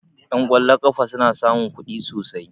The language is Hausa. Ƴan ƙwallon ƙafa suna samun kuɗi sosai